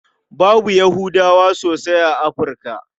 Babu Yahudawa sosai a Afirka.